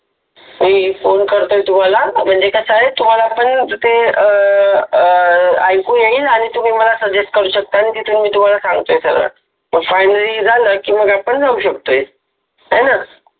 मि फोन करतोय तुम्हाला म्हनजे कस आहे तुम्हाला पण ते अ ऐकु येईल आणी तुम्हि मला suggest करु शकता आणि तिथुन मि त्युम्हाला सांगतोय सगळ आणी मग final झाल कि मग जाउ शकतो हाय न